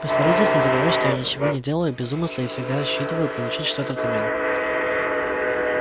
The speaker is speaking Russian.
постарайтесь не забывать что я ничего не делаю без умысла и всегда рассчитываю получить что-то взамен